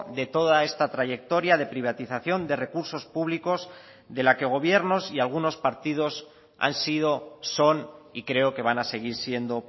de toda esta trayectoria de privatización de recursos públicos de la que gobiernos y algunos partidos han sido son y creo que van a seguir siendo